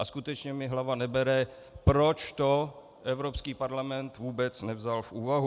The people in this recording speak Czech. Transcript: A skutečně mi hlava nebere, proč to Evropský parlament vůbec nevzal v úvahu.